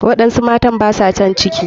Waɗansu matar baswa san ciki.